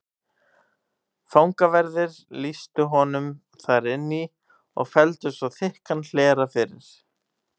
Fangaverðir lýstu honum þar inn í og felldu svo þykkan hlera fyrir.